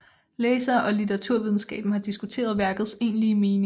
Læsere og litteraturvidenskaben har diskuteret værkets egentlige mening